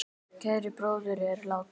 Kær bróðir er látinn.